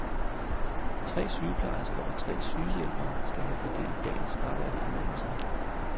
Tre sygeplejersker og tre sygehjælpere skal have fordelt dagens arbejde imellem sig.